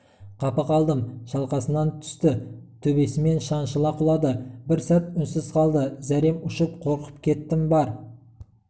қапы қалдым шалқасынан түсті төбесімен шаншыла құлады бір сәт үнсіз қалды зәрем ұшып қорқып кеттім бар